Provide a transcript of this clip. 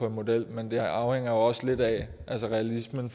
en model men det afhænger også lidt af hvor realistisk det